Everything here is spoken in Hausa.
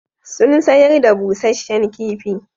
Sun sayar da busasshen kifi.